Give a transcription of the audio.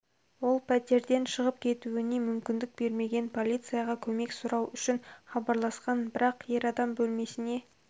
ол пәтерден шығып кетуіне мүмкіндік бермеген полицияға көмек сұрау үшін хабарласқан бірақ ер адам бөлмесіне